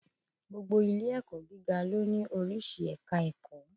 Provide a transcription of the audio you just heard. Gbogbo ilé-ẹ̀kọ̀ gíga ló ní oríṣi ẹ̀ka ẹ̀kọ́.